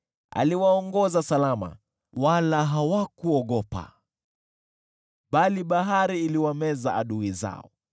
Aliwaongoza salama, wala hawakuogopa, bali bahari iliwameza adui zao.